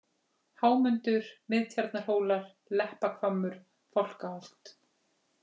Hámundur, Miðtjarnarhólar, Leppahvammur, Fálkaholt